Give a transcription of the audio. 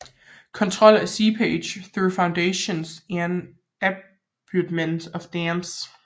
Control of Seepage through foundations and abutments of dams